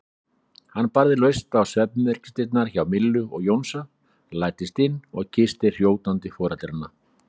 Hann barði laust á svefnherbergisdyrnar hjá Millu og Jónsa, læddist inn og kyssti hrjótandi foreldrana.